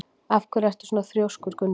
Af hverju ertu svona þrjóskur, Gunnbjörn?